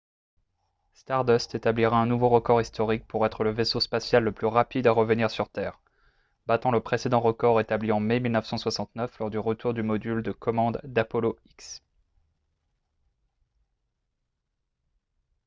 stardust établira un nouveau record historique pour être le vaisseau spatial le plus rapide à revenir sur terre battant le précédent record établi en mai 1969 lors du retour du module de commande d'apollo x